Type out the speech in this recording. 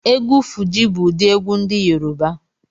Egwu Fuji bu udi egwu ndi Yoruba